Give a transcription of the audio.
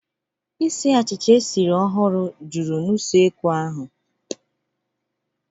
Isiì achịcha e siri ọhụrụ juru na usekwu ahu.